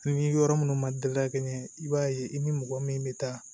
Ni yɔrɔ minnu ma da kɛ ɲɛ i b'a ye i ni mɔgɔ min bɛ taa